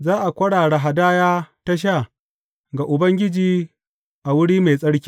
Za a kwarara hadaya ta sha ga Ubangiji a wuri mai tsarki.